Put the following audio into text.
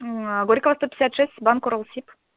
горькогосто пятьдесят шесть банк уралсиб